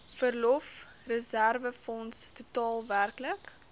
verlofreserwefonds totaal werklik